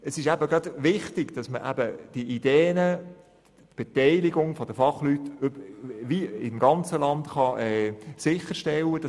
Es ist eben wichtig, dass die Ideen wie die Fachleute im ganzen Land sichergestellt werden können.